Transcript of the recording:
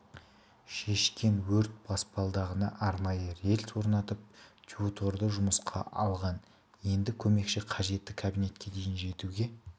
шешкен өрт баспалдағына арнайы рельс орнатып тьюторды жұмысқа алған енді көмекші қажетті кабинетке дейін жетуге